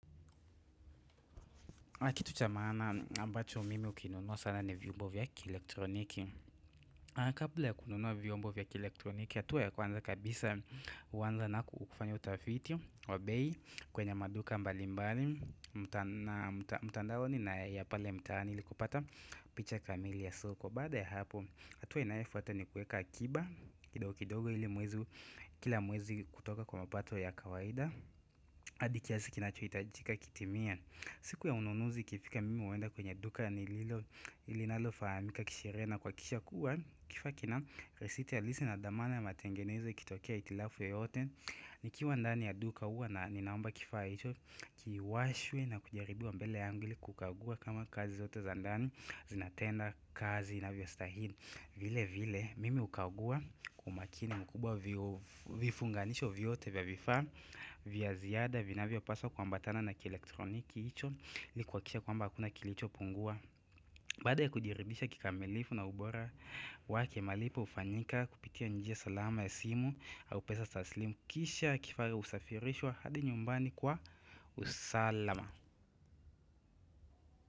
Kitu cha maana ambacho mimi hukinunua sana ni viombo vya kielektroniki Kabla ya kununua vyombo vya kielektroniki hatua ya kwanza kabisa huanza na kufanya utafiti wa bei kwenye maduka mbali mbali na mtandaoni na ya pale mtaani ili kupata picha kamili ya soko Baada ya hapo hatua inayofuata ni kuweka akiba kidogo kidogo ili mwezi kila mwezi kutoka kwa mapato ya kawaida hadi kiasi kinachohitajika kitimie siku ya ununuzi ikifika mimi huenda kwenye duka ya nililo linalofahamika kisheria na kuhakisha kuwa kifaa kina risiti ya lisi na dhamana ya matengenezo ikitokea hitilafu yoyote nikiwa ndani ya duka huwa na ninaomba kifaa hicho kiwashwe na kujaribiwa mbele yangu ili kukagua kama kazi zote za ndani zinatenda kazi inavyostahili vile vile mimi hukagua kwa umakini mkubwa vifunganisho vyote vya vifaa vya ziada vinavyopaswa kuambatana na kielektroniki hicho ili kuhakikisha kwamba hakuna kilichopungua Baada ya kukirekeribisha kikamilifu na ubora wa kimalipo hufanyika kupitia njia salama ya simu au pesa taslimu kisha kifaa husafirishwa hadi nyumbani kwa usalama.